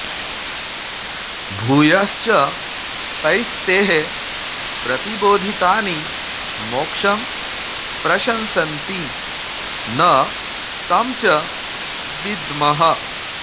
भूयश्च तैस्तैः प्रतिबोधितानि मोक्षं प्रशंसन्ति न तं च विद्मः